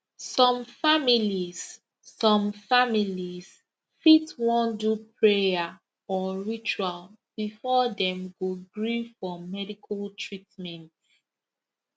some families some families fit wan do prayer or ritual before dem go gree for medical treatment